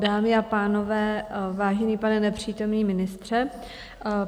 Dámy a pánové, vážený pane nepřítomný ministře.